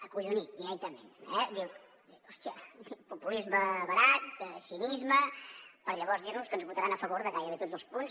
acollonit directament eh diu hòstia populisme barat cinisme per llavors dir nos que ens votaran a favor de gairebé tots els punts